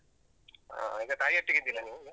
ಹಾ ಈಗ ತಾಯಿಯೊಟ್ಟಿಗೆ ಇದ್ದೀರಾ ನೀವು?